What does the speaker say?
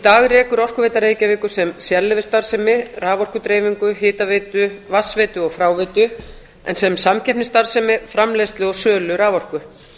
dag rekur orkuveita reykjavíkur sem sérleyfisstarfsemi raforkudreifingu hitaveitu vatnsveitu og fráveitu en sem samkeppnisstarfsemi framleiðslu og sölu raforku